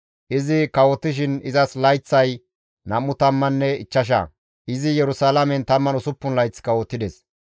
Izi kawotishin izas layththay 25; izi Yerusalaamen 16 layth kawotides.